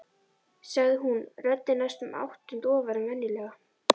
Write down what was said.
sagði hún, röddin næstum áttund ofar en venjulega.